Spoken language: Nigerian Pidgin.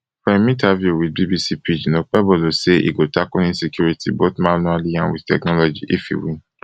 for im interview wit bbc pidgin okpebolosay e go tackle insecurity both manually and wit technology if e win